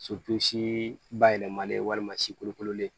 si bayɛlɛmalen walima si kolokololen